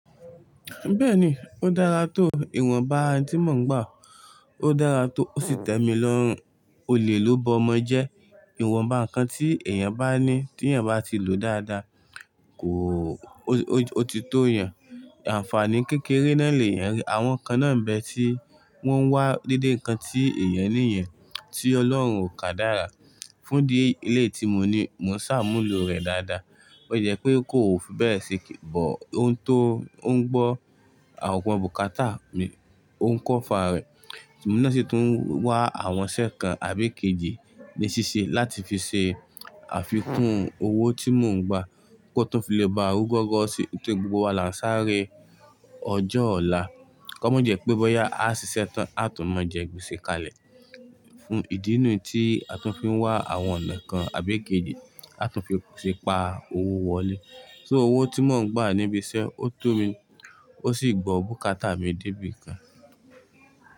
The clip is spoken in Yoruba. Bẹ́ẹ̀ni, ó dára tó ìwọ̀nba tí mò ń gbà. Ó dára tó ó sì tẹ́mi lọ́rùn. Olè ló bọmọ jẹ. Ìwọ̀nba nǹkan tí èèyàn bá ní tí èèyàn bá ti lò dáadáa, kò ó ti tó yàn. Àǹfààní kékeré náà lè yàn ri. Àwọn kan náà ń bẹ tí wọ́n wá dédé nǹkan tí èèyàn ní yẹn tí Ọlọ́run o kàdára. Fún ìdí éyi, eleyi tí mo ní, mo ṣàmúlò rẹ̀ dáadáa. Bo ti le je pé kò ò fi bẹ́ẹ̀ ṣe kí, bó òun tó ó ń gbọ́ àwọn bùkátà mi, ó ń kọ́fà rẹ̀. Ṣùgbọ́n emi náà sì tún wá àwọn iṣẹ́ kan àbí kejì ní ṣíṣe láti fi ṣe àfikún owó tí mò ń gbà kó tó fi lè bá rú gọ́rọ́ sí. Nítorí gbogbo wa là ń sáré ọjọ́ ọ̀la. Kọ́mọ jẹ́ pé bọ́yá a ṣiṣẹ́ tán a tún mọ jẹ́ gbese kalẹ̀. Fún ìdí nu tí a tún fi wá àwọn ọ̀nà kan àbí kejì a tún fi ṣe pa owó wọlé. So owó tí mò ń gbà níbi iṣẹ́, ó tó mi ó sì gbọ́ bùkátà mi débi kan.